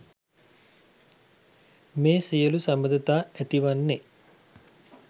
මේ සියලු සබඳතා ඇති වන්නේ